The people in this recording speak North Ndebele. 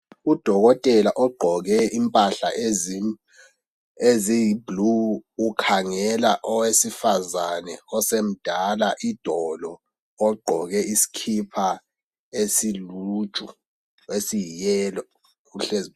Udokotela ogqoke impahla eziyi"blue" ukhangela owesifazane osemdala idolo ogqoke isikipa esiluju esiyi"yellow",uhlezi.